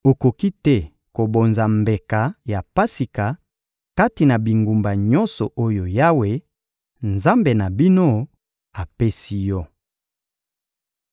Okoki te kobonza mbeka ya Pasika kati na bingumba nyonso oyo Yawe, Nzambe na bino, apesi yo.